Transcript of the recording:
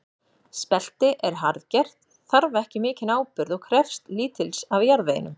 Spelti er harðgert, þarf ekki mikinn áburð og krefst lítils af jarðveginum.